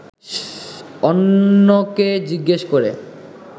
অন্যকে জিজ্ঞেস করে